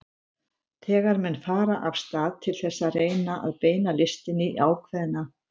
Þegar menn fara af stað til þess að reyna að beina listinni í ákveðna